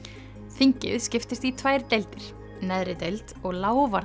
þingið skiptist í tvær deildir neðri deild og